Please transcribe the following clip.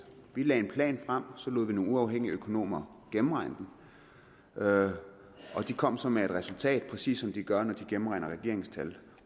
vi lagde en plan frem så lod vi nogle uafhængige økonomer gennemregne den og de kom så med et resultat præcis som de gør når de gennemregner regeringens tal